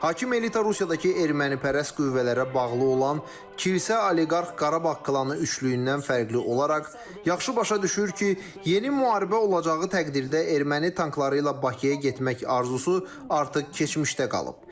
Hakim elita Rusiyadakı ermənipərəst qüvvələrə bağlı olan kilsə, oliqarx, Qarabağ klanı üçlüyündən fərqli olaraq yaxşı başa düşür ki, yeni müharibə olacağı təqdirdə erməni tankları ilə Bakıya getmək arzusu artıq keçmişdə qalıb.